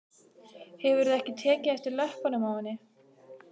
Hefurðu ekki tekið eftir löppunum á henni?